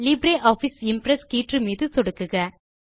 LibreOffice Impress கீற்று மீது சொடுக்குக